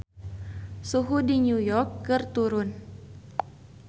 Suhu di New York keur turun